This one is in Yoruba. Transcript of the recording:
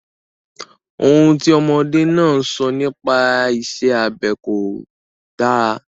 Ohun tí ọmọdé náà sọ nipa isẹ́ abẹ kò dára.